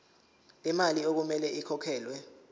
lemali okumele ikhokhelwe